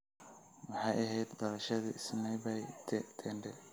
maxay ahayd dhalashadii sanaipei tande